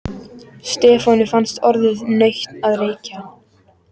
Stefáni fannst orðið nautn að reykja.